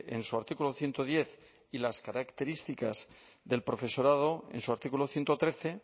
en su artículo ciento diez y las características del profesorado en su artículo ciento trece